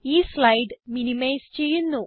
ഈ slide minimise ചെയ്യുന്നു